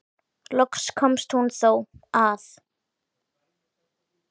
Loks komst hún þó að.